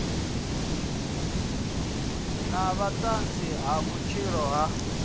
na vhuṱanzi ha vhudzivha ha